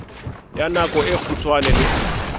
ya nako e kgutshwane le